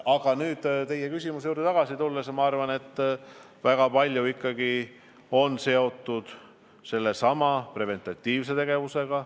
Aga teie küsimuse juurde tagasi tulles ma arvan, et väga palju on seotud preventatiivse tegevusega.